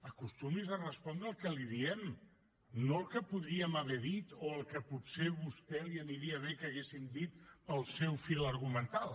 acostumi’s a respondre el que li diem no el que podríem haver dit o el que potser a vostè li aniria bé que haguéssim dit per al seu fil argumental